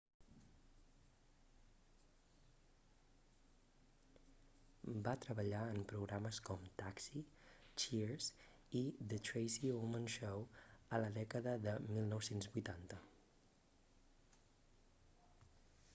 va treballar en programes com taxi cheers i the tracy ullman show a la dècada de 1980